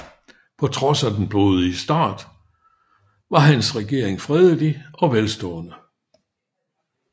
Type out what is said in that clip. På trods af den blodig start var hans regering fredelig og velstående